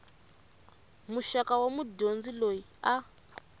muxaka wa mudyondzi loyi a